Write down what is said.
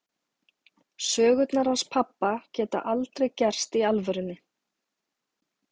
Sögurnar hans pabba geta aldrei gerst í alvörunni.